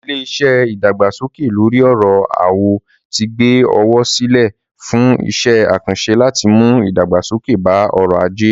Ilé-iṣẹ́ ìdàgbàsókè lóri ọ̀rọ̀ owó ti gbé owó sílẹ̀ fún iṣẹ́-àkànṣẹ láti mú ìdàgbàsókè bá ọrọ̀-ajé.